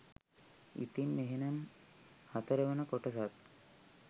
ඉතින් එහෙනම් හතරවන කොටසත්